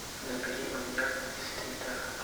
набери маньяк из твиттера